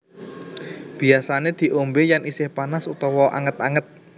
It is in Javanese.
Biasané diombé yén isih panas utawa anget anget